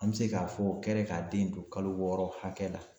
An bɛ se k'a fɔ o kɛra ka den to kalo wɔɔrɔ hakɛ la.